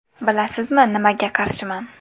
Bilasizmi, nimaga qarshiman?